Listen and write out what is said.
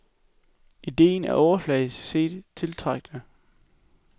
Ideen er overfladisk set tiltrækkende.